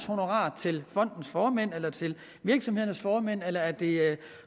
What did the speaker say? honorarer til fondens formand eller virksomhedernes formænd eller er det